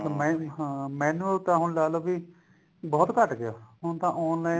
ਮੈਂ ਹਾਂ manual ਤਾਂ ਹੁਣ ਲਾਲੋ ਕਿ ਬਹੁਤ ਘੱਟ ਗਿਆ ਹੁਣ ਤਾਂ online